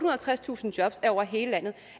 og halvtredstusind jobs er over hele landet og